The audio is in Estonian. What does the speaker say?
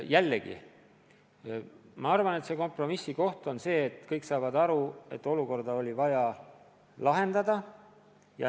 Jällegi, minu arvates kompromiss seisneb selles, et kõik saavad aru, et olukord oli vaja lahendada.